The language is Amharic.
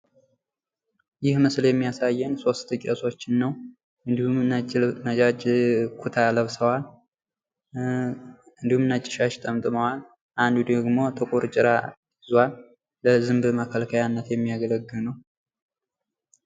ይህ ምስል የሚያሳን ሶስት ቄሶችን ነው። እንድሁም ነጫጭ ኩታ ለብሰዋል። እንድሁም ነጭ ሻሽ ጠምጥመዋል። አንዱ ደግሞ ጥቁር ጭራ ይዟል። ለዝንብ መከልከያነት የሚያገለግል ነው።